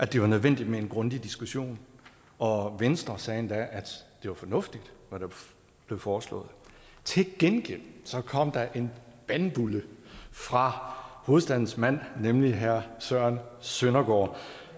det var nødvendigt med en grundig diskussion og venstre sagde endda at det var fornuftigt hvad der blev foreslået til gengæld kom der en bandbulle fra hovedstadens mand nemlig herre søren søndergaard